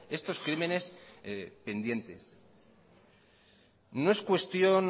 estos crímenes pendientes no es cuestión